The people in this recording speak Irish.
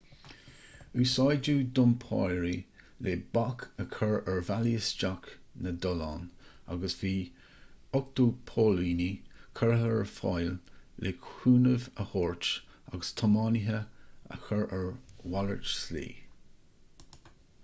úsáideadh dumpairí le bac a chur ar bhealaí isteach na dtollán agus bhí 80 póilíní curtha ar fáil le cúnamh a thabhairt agus tiománaithe a chur ar mhalairt slí